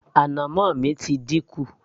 ànàmọ́ mi ti dínkù